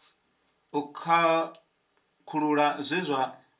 u khakhulula zwe zwa vha